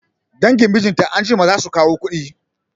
Dangin mijinta anjima zasu kawo kuɗi